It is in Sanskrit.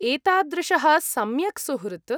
एतादृशः सम्यक् सुहृत्!